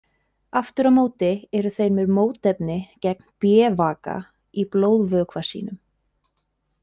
Aftur á móti eru þeir með mótefni gegn B-vaka í blóðvökva sínum.